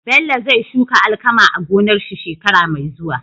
Bello zai shuka alkama a gonar shi shekara me zuwa